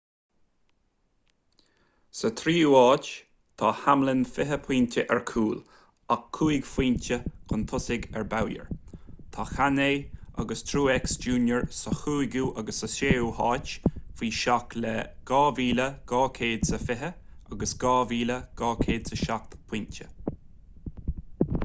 sa tríú háit tá hamlin fiche pointe ar chúl ach cúig phointe chun tosaigh ar bowyer tá kahne agus truex jr sa chúigiú agus sa séú háit faoi seach le 2,220 agus 2,207 pointe